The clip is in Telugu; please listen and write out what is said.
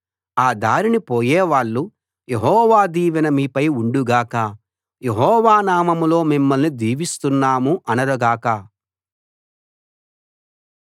ఆ దారిన పోయే వాళ్ళు యెహోవా దీవెన మీపై ఉండు గాక యెహోవా నామంలో మిమ్మల్ని దీవిస్తున్నాము అనరు గాక